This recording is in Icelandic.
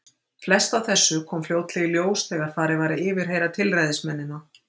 Flest af þessu kom fljótlega í ljós þegar farið var að yfirheyra tilræðismennina.